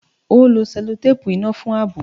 Ó lo sẹ́lótéèpù iná fún ààbò